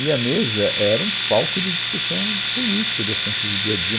E a mesa era um palco de discussão política, de assuntos do dia a dia.